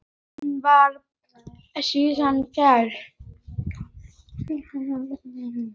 Hún var síðan kærð.